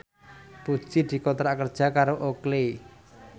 Puji dikontrak kerja karo Oakley